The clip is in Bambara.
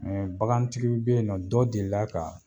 bagantigiw be yen nɔ dɔ delila ka